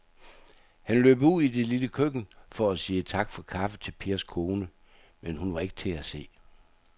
Han løb ud i det lille køkken for at sige tak for kaffe til Pers kone, men hun var ikke til at se.